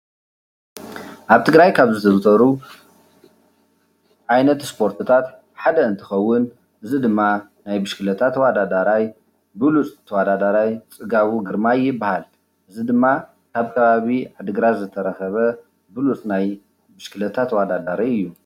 ኣብ ትግራይ ካብ ዝዝውተሩ ዓይነት ስፖርትታት ሓደ እንትኸውን እዚ ድማ ናይ ብሽክሌታ ተወዳዳራይ ብሉፅ ተወዳዳራይ ፅጋቡ ግርማይ ይበሃል። እዚ ድማ ካብ ከባቢ ዓዲ ግራት ዝተረኸበ ብሉፅ ናይ ብሽክሌታ ተወዳዳሪ እዩ።